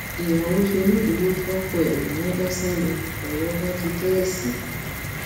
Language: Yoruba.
ìyàwó ṣonídùúró fọkọ ẹ nìyẹn bá sá lọ lọrọ bá di kẹẹsì